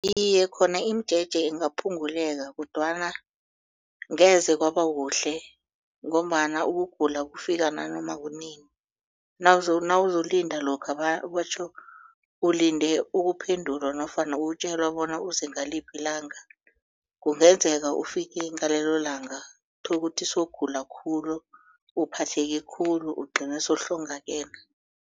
Iye, khona imijeje ingaphungulela kodwana ngeze kwaba kuhle ngombana ukugula kufika nanoma kunini nawuzokulinda lokha batjho ulinde ukuphendulwa nofana ukutjelwa bona uze ngaliphi ilanga kungenzeka ufike ngalelolanga tholukuthi sowugula khulu uphatheke khulu ugcine sowuhlongakele.